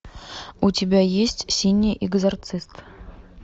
у тебя есть синий экзорцист